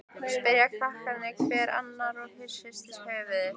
spyrja krakkarnir hver annan og hrista höfuðið.